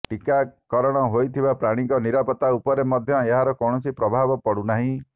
ଟିକାକରଣ ହୋଇଥିବା ପ୍ରାଣୀଙ୍କ ନିରାପତ୍ତା ଉପରେ ମଧ୍ୟ ଏହାର କୌଣସି ପ୍ରଭାବ ପଡ଼ୁନାହିଁ